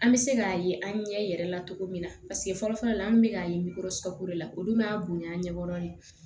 An bɛ se k'a ye an ɲɛ yɛrɛ la cogo min na paseke fɔlɔ fɔlɔ la an bɛ k'a ye ko la olu m'a bonya an ɲɛ kɔrɔlen